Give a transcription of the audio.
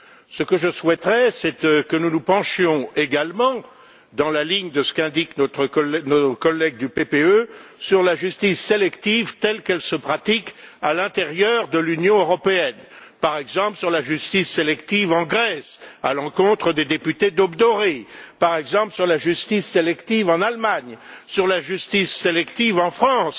Ce que je souhaiterais, c'est que nous nous penchions également, dans la ligne de ce qu'indiquent nos collègues du PPE, sur la justice sélective telle qu'elle se pratique à l'intérieur de l'Union européenne par exemple sur la justice sélective en Grèce, à l'encontre des députés d'Aube dorée, par exemple sur la justice sélective en Allemagne, sur la justice sélective en France,